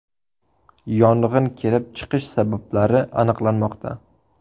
Yong‘in kelib chiqish sabablari aniqlanmoqda.